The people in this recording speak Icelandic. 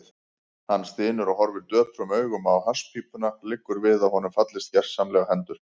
Hann stynur og horfir döprum augum á hasspípuna, liggur við að honum fallist gersamlega hendur.